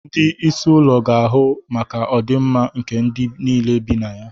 Ndị isi ụlọ ga-ahụ maka ọdịmma nke ndị niile bi na ya.